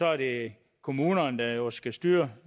er det kommunerne der jo skal styre